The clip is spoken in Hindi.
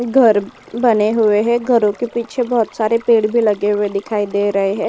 घर बने हुए हैं। घरों के पीछे बोहोत सारे पेड़ भी लगे हुए दिखाई दे रहे हैं।